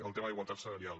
el tema d’igualtat salarial